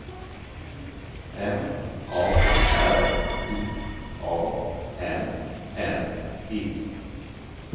M A R I A N N E